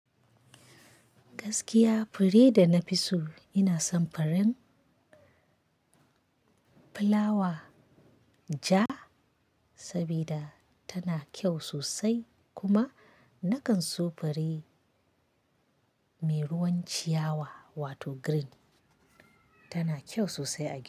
Gaskiya fure da na fi so ina son furen plawa ja, sabida tana kyau sosai kuma nakan so fure mai ruwan ciyawa wato green, tana kyau sosai a.